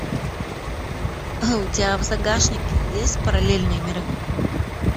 у тебя в загашнике есть параллельные миры